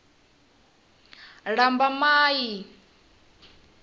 lambamai